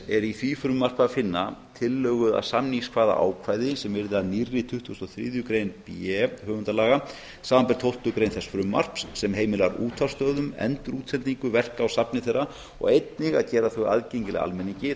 er í því frumvarpi að finna tillögu að samningskvaðaákvæði sem yrði að nýrri tuttugustu og þriðju grein b höfundalaga samanber tólftu grein þess frumvarps sem heimilar útvarpsstöðvum endurútsendingu verka úr safni þeirra og einnig að gera þau aðgengileg almenningi